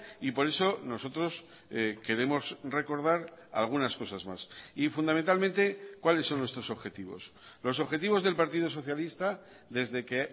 y por eso nosotros queremos recordar algunas cosas más y fundamentalmente cuáles son nuestros objetivos los objetivos del partido socialista desde que